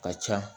Ka ca